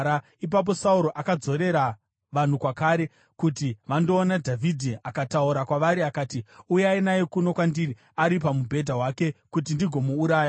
Ipapo Sauro akadzorera vanhu kwakare kuti vandoona Dhavhidhi akataura kwavari akati, “Uyai naye kuno kwandiri ari pamubhedha wake kuti ndigomuuraya.”